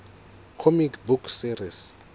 comic book series